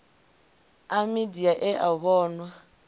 a midia e a vhonwa